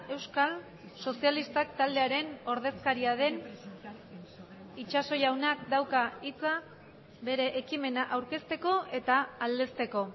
euskal sozialistak taldearen ordezkaria den itxaso jaunak dauka hitza bere ekimena aurkezteko eta aldezteko